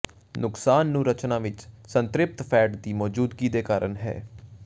ਨੁਕਸਾਨ ਨੂੰ ਰਚਨਾ ਵਿੱਚ ਸੰਤ੍ਰਿਪਤ ਫੈਟ ਦੀ ਮੌਜੂਦਗੀ ਦੇ ਕਾਰਨ ਹੈ